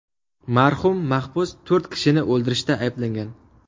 Marhum mahbus to‘rt kishini o‘ldirishda ayblangan.